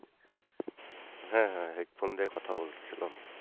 হ্যাঁ হ্যাঁ headphone দিয়ে কথা বলতেছিলাম।